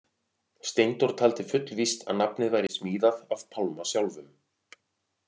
Steindór taldi fullvíst að nafnið væri smíðað af Pálma sjálfum.